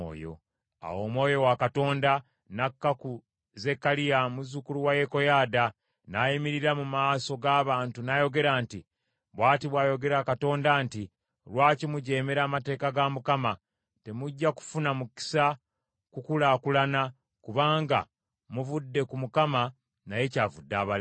Awo Omwoyo wa Katonda n’akka ku Zekkaliya muzzukulu wa Yekoyaada, n’ayimirira mu maaso g’abantu n’ayogera nti, “Bw’ati bw’ayogera Katonda nti, ‘Lwaki mujeemera amateeka ga Mukama ? Temujja kufuna mukisa kukulaakulana. Kubanga muvudde ku Mukama naye kyavudde abaleka.’ ”